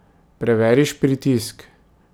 Preveriš pritisk.